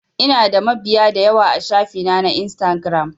Ina da mabiya dayawa a shafi na na instagiram